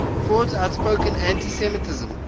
ford's outspoken anti semitism